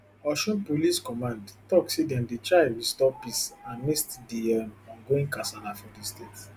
osun police command tok say dem dey try restore peace amidst di um ongoing kasala for di state